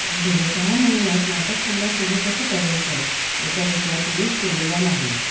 गेल्या सहा महिन्यांत नाटक पुन्हा सुरू कसं करायचं याचा विचार कुणीच केलेला नाही